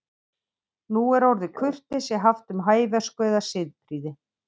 Nú er orðið kurteisi haft um hæversku eða siðprýði.